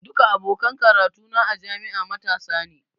Duka abokan karatu na a jami'a matasa ne.